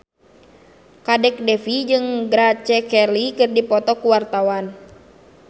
Kadek Devi jeung Grace Kelly keur dipoto ku wartawan